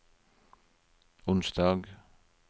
onsdag